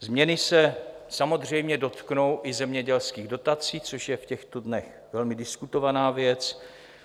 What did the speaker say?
Změny se samozřejmě dotknou i zemědělských dotací, což je v těchto dnech velmi diskutovaná věc.